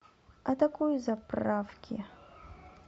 атакуй заправки